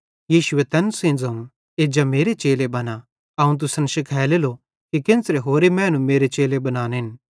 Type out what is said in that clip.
यीशुए तैन सेइं ज़ोवं एज्जा मेरे चेले बना अवं तुसन शिखालेलो कि केन्च़रां होरे मैनू मेरे चेले बनानेन